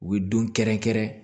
U bɛ don kɛrɛnkɛrɛn